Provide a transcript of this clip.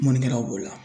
Mɔnikɛla b'o la